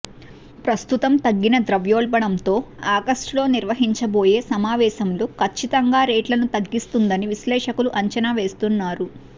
ప్రస్తుతం తగ్గిన ద్రవ్యోల్బణం తో ఆగస్టులో నిర్వహించబోయే సమావేశంలో కచ్చితంగా రేట్లను తగ్గిస్తుందని విశ్లేషకులు అంచనావేస్తున్నారు